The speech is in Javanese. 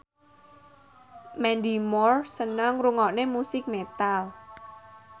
Mandy Moore seneng ngrungokne musik metal